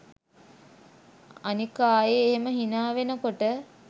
අනික ආයෙ එහෙම හිනා වෙනකොට